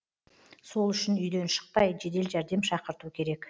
сол үшін үйден шықпай жедел жәрдем шақырту керек